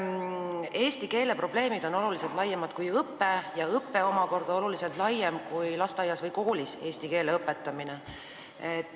Eesti keele probleemid on oluliselt laiemad kui õpe ja õpe omakorda oluliselt laiem kui lasteaias või koolis eesti keele õpetamine.